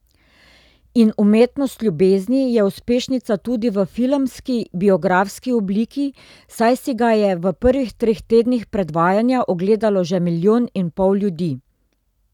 In Umetnost ljubezni je uspešnica tudi v filmski biografski obliki, saj si ga je v prvih treh tednih predvajanja ogledalo že milijon in pol ljudi.